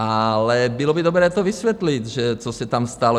Ale bylo by dobré to vysvětlit, co se tam stalo.